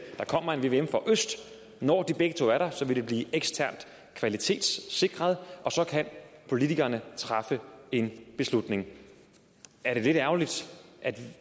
der kommer en vvm for øst når de begge to er der vil det blive eksternt kvalitetssikret og så kan politikerne træffe en beslutning er det lidt ærgerligt at det